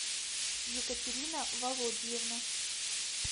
екатерина володьевна